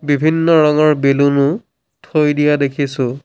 বিভিন্ন ৰঙৰ বেলুন ও থৈ দিয়া দেখিছোঁ।